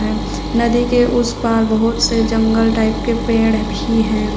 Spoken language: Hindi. नदी के उस पार बहुत से जंगल टाइप के पेड़ भी है।